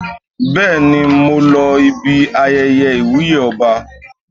Bẹ́ẹ̀ni, mo lọ ibi ayẹyẹ ìwúyè ọba.